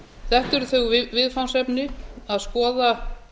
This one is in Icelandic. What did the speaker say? þetta eru þau viðfangsefni að skoða